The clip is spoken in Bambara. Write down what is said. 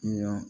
Kiliyan